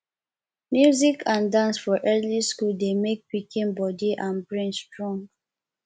music and dance for early school dey make pikin body and brain strong